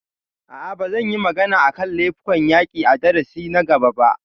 A'a, ba zan yi magana a kan laifukan yaƙi a darasin na gaba ba